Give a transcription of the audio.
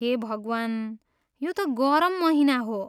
हे भगवान्, यो त गरम महिना हो!